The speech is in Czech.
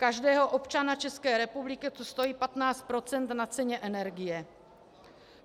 Každého občana České republiky to stojí 15 % na ceně energie.